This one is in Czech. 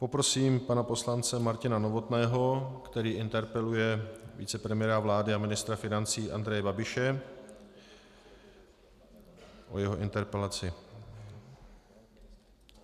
Poprosím pana poslance Martina Novotného, který interpeluje vicepremiéra vlády a ministra financí Andreje Babiše, o jeho interpelaci.